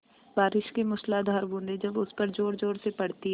बारिश की मूसलाधार बूँदें जब उस पर ज़ोरज़ोर से पड़ती हैं